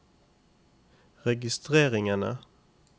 registreringene